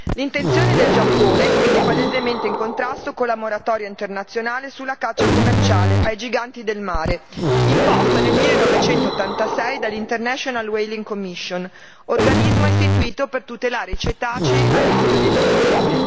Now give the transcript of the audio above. L'intenzione del Giappone, quindi, è palesemente in contrasto con la moratoria internazionale sulla caccia commerciale ai giganti del mare imposta nel 1986 dalla International Whaling Commission organismo istituito per tutelare i cetacei a rischio di estinzione.